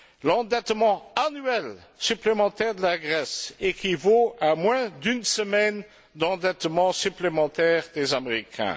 L'endettement annuel supplémentaire de la Grèce équivaut à moins d'une semaine d'endettement supplémentaire des Américains.